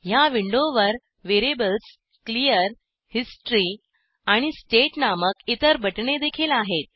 ह्या विंडोवर variables clear history आणि स्टेट नामक इतर बटणेदेखील आहेत